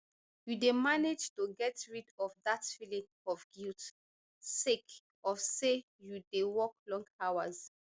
you dey manage to get rid of dat feeling of guilt sake of say you dey work long hours